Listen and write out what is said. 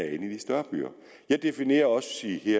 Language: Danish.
i de større byer jeg definerer også